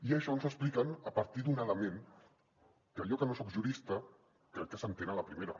i això ens ho expliquen a partir d’un element que jo que no soc jurista crec que s’entén a la primera